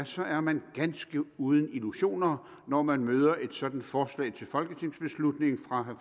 så er man ganske uden illusioner når man møder et sådant forslag til folketingsbeslutning fra